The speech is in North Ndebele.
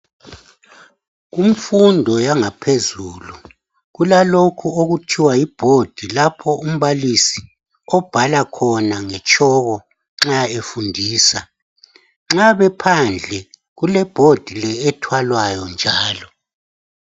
Kumfundo yangaphezulu kulalokhu okuthiwa yiboard lapho umbalisi obhala khona ngetshoko nxa efundisa nxa bephandle kuleboard le ethwalayo njalo.